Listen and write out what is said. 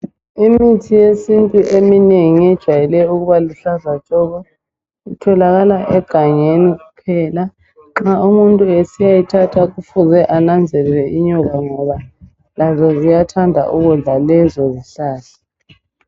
Imithi yesintu eminengi ejayele ukuba luhlaza tshoko utholakala egangeni kuphela nxa umuntu esiyayithatha kufuze ananzelele inyoka ngoba lazo ziyathanda ukudla lezo zihlahla.